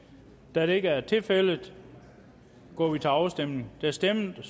da det ikke er tilfældet går vi til afstemning afstemning